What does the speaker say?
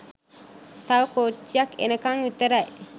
තව කෝච්චියක් එනකන් විතරයි.